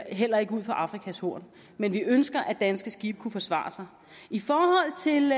heller ikke ud for afrikas horn men vi ønsker at danske skibe skal kunne forsvare sig i forhold til